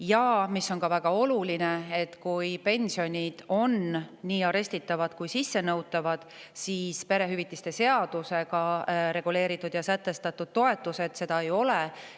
Ja veel on väga oluline see, et pensionid on nii arestitavad kui ka sissenõutavad, aga perehüvitiste seadusega sätestatud toetused seda ei ole.